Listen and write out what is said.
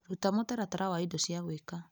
Ruta mũtaratara wa indo cia gwĩka .